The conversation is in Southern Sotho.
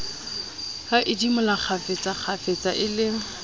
a idimola kgafetsakgafetsa e le